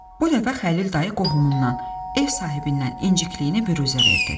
Bu dəfə Xəlil dayı qohumundan, ev sahibindən incikliyini büruzə verdi.